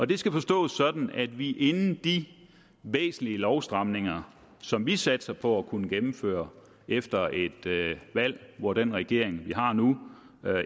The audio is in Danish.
det skal forstås sådan at vi inden de væsentlige lovstramninger som vi satser på at kunne gennemføre efter et valg hvor den regering vi har nu